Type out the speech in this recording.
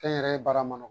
Kɛ n yɛrɛ ye baara mun